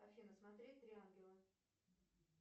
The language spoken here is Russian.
афина смотреть три ангела